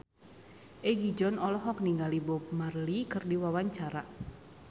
Egi John olohok ningali Bob Marley keur diwawancara